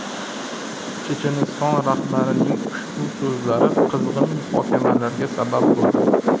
Checheniston rahbarining ushbu so‘zlari qizg‘in muhokamalarga sabab bo‘ldi.